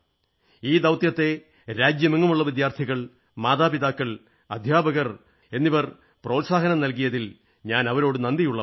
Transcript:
ഈ ദൌത്യത്തെ രാജ്യമെങ്ങുമുള്ള വിദ്യാർഥികൾ മാതാപിതാക്കൾ അധ്യാപകർ പ്രോത്സാഹനമേകിയതിൽ ഞാൻ അവരോടു നന്ദിയുള്ളവനാണ്